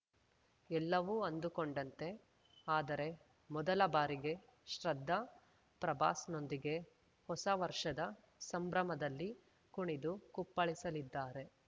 ಎಲ್ಲವೂ ಅಂದುಕೊಂಡಂತೆ ಆದರೆ ಮೊದಲ ಬಾರಿಗೆ ಶ್ರದ್ಧಾ ಪ್ರಭಾಸ್‌ನೊಂದಿಗೆ ಹೊಸ ವರ್ಷದ ಸಂಭ್ರಮದಲ್ಲಿ ಕುಣಿದು ಕುಪ್ಪಳಿಸಲಿದ್ದಾರೆ